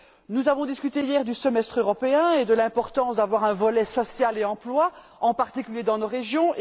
Nous avons discuté, hier, du semestre européen et de l'importance d'avoir un volet social et emploi, en particulier dans nos régions.